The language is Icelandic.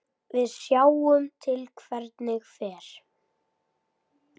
Við sjáum til hvernig fer.